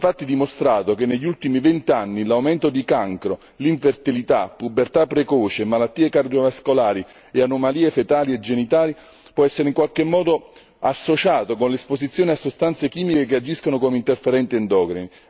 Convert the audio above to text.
È infatti dimostrato che negli ultimi vent'anni l'aumento di cancro, infertilità, pubertà precoce, malattie cardiovascolari e anomalie fetali e genitali può essere in qualche modo associato con l'esposizione a sostanze chimiche che agiscono come interferenti endocrini.